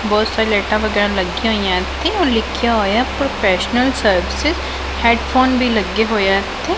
ਬਹੁਤ ਸਾਰੀਆਂ ਲਾਈਟਾਂ ਵਗੈਰਾ ਲੱਗੀਆਂ ਹੋਈਐਂ ਇੱਥੇ ਔਰ ਲਿੱਖਿਆ ਹੋਇਐ ਪ੍ਰੋਫੈਸ਼ਨਲ ਸਰਵਿਸਿਸ ਹੈਡਫ਼ੋਨ ਵੀ ਲੱਗੇ ਹੋਏ ਆ ਇੱਥੇ।